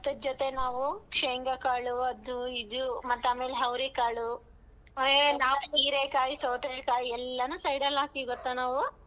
ಭತ್ತದ್ ಜೊತೆ ನಾವ್ ಶೇಂಗಾಕಾಳು ಅದು ಇದು ಮತ್ತಾ ಆಮೇಲೆ ಅವರಿಕಾಳು ಹೀರೆಕಾಯಿ, ಸೌತೆಕಾಯಿ ಎಲ್ಲಾನು side ಲ್ಲಿ ಹಾಕೀವಿ ಗೊತ್ತಾ ನಾವ್.